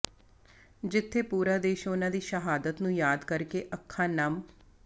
ਜਿੱਥੇ ਪੂਰਾ ਦੇਸ਼ ਉਨ੍ਹਾਂ ਦੀ ਸ਼ਹਾਦਤ ਨੂੰ ਯਾਦ ਕਰਕੇ ਅੱਖਾਂ ਨਮ